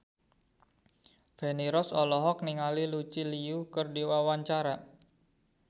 Feni Rose olohok ningali Lucy Liu keur diwawancara